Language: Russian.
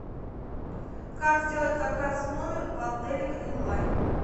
как сделать заказ в номер в отеле грин лайн